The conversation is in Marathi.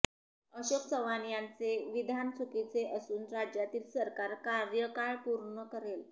अशोक चव्हाण यांचे विधान चुकीचे असून राज्यातील सरकार कार्यकाळ पूर्ण करेल